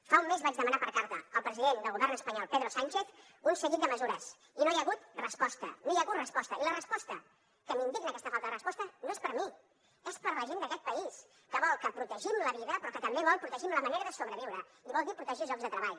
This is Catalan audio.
fa un mes vaig demanar per carta al president del govern espanyol pedro sánchez un seguit de mesures i no hi ha hagut resposta i la resposta que m’indigna aquesta falta de resposta no és per a mi és per a la gent d’aquest país que vol que protegim la vida però que també vol que protegim la manera de sobreviure i vol dir protegir llocs de treball